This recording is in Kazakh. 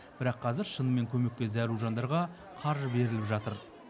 бірақ қазір шынымен көмекке зәру жандарға қаржы беріліп жатыр